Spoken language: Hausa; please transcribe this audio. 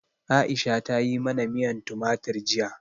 Aisha ta yi mana miyan tumatir jiya.